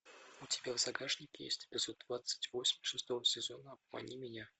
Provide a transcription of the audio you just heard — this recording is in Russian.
у тебя в загашнике есть эпизод двадцать восемь шестого сезона обмани меня